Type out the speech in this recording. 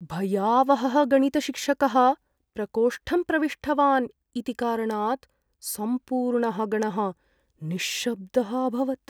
भयावहः गणितशिक्षकः प्रकोष्ठं प्रविष्टवान् इति कारणात् सम्पूर्णः गणः निश्शब्दः अभवत्।